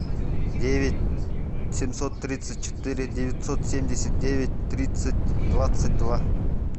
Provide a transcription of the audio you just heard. девять семьсот тридцать четыре девятьсот семьдесят девять тридцать двадцать два